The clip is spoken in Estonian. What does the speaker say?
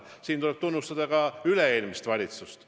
Siin tuleb tunnustada ka üle-eelmist valitsust.